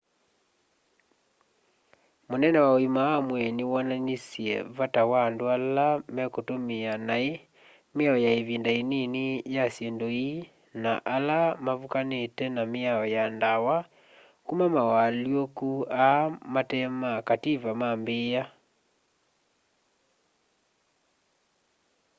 munene wa uima wa mwii ni wonanisye vata wa andu ala mekutumia nai miao ya ivinda inini ya syindu ii na ala mavukanite na miao ya ndawa kuma mawalyuku aa mate ma kativa maambia